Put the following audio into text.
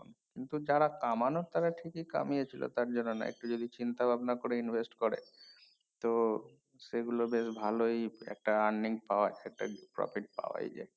কিন্তু যারা কমানোর তারা ঠিকই কমিয়ে ছিল তার জন্য নয় একটু যদি চিন্তা ভাবনা করে invest করে তো সেগুলো বেশ ভালোই একটা earning power সেটা profit পাওয়ায় যায়